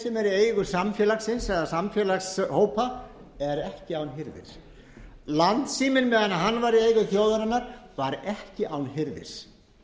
í eigu samfélagsins eða samfélagshópa er ekki án hirðis landssíminn meðan hann var í eigu þjóðarinnar var ekki án hirðis